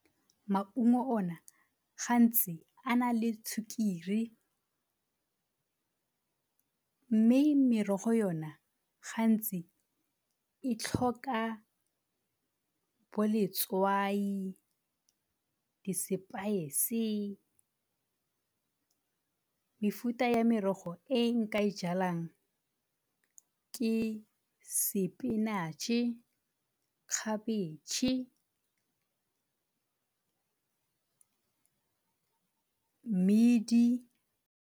Maungo o na gantsi a na le sukiri, mme merogo yona gantsi e tlhoka bo letswai, di-spice. Mefuta ya merogo e nka e jalang ke spinach-e, khabitšhe, mmidi.